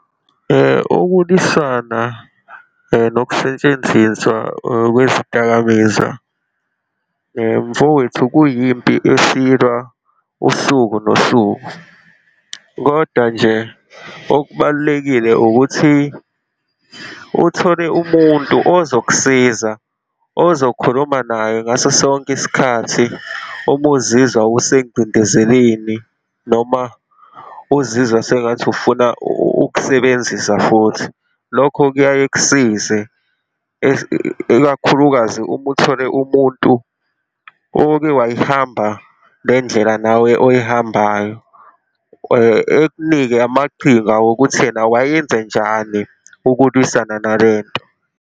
Ukulwisana nokusentshenziswa kwezidakamizwa mfowethu, kuyimpi esiyilwa usuku nosuku. Kodwa nje okubalulekile ukuthi uthole umuntu ozokusiza, ozokhuluma naye ngaso sonke isikhathi uma uzizwa usengcindezeleni, noma uzizwa sengathi ufuna ukusebenzisa futhi, lokho kuyaye kusize, ikakhulukazi uma uthole umuntu oke wayihamba le ndlela nawe oyihambayo, ekunike amaqhinga wokuthi yena wayenzenjani ukulwisana nale nto.